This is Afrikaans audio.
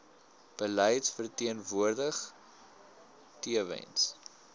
beleid verteenwoordig tewens